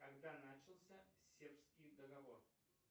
когда начался сербский договор